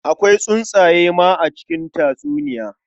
Akwai tsuntsaye ma a cikin tatsuniya.